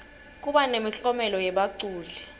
kuba nemiklomelo yebaculi